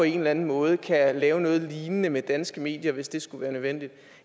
en eller anden måde kan lave noget lignende med danske medier hvis det skulle være nødvendigt